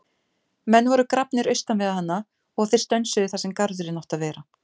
Menn voru grafnir austan við hana og þeir stönsuðu þar sem garðurinn átti að vera.